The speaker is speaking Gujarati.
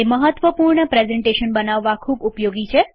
તે મહત્વપૂર્ણ પ્રેઝન્ટેશન બનાવવા ખુબ ઉપયોગી છે